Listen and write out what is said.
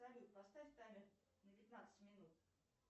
салют поставь таймер на пятнадцать минут